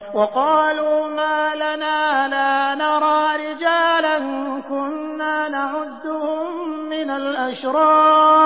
وَقَالُوا مَا لَنَا لَا نَرَىٰ رِجَالًا كُنَّا نَعُدُّهُم مِّنَ الْأَشْرَارِ